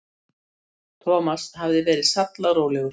Thomas hafði verið sallarólegur.